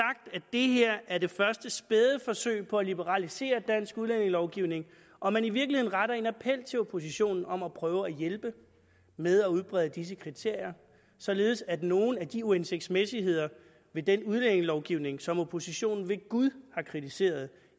det her er det første spæde forsøg på at liberalisere dansk udlændingelovgivning og man i virkeligheden retter appel til oppositionen om at prøve at hjælpe med at udbrede disse kriterier således at nogle af de uhensigtsmæssigheder ved den udlændingelovgivning som oppositionen ved gud har kritiseret